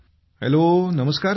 hello नमस्कार sir